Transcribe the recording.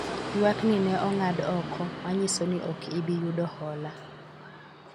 ywak ni ne ong'ad oko ,manyiso ni ok ibi yudo hola